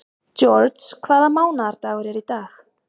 George, hvaða mánaðardagur er í dag?